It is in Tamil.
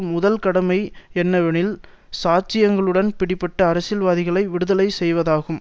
முதல் கடமை என்னவெனில் சாட்சியங்களுடன் பிடிபட்ட அரசியல்வாதிகளை விடுதலை செய்வதாகும்